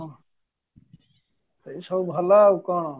ସେଇସବୁ ଭଲ ଆଉ କ'ଣ